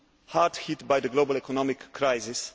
hard hit by the global economic crisis.